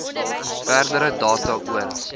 verdere data oor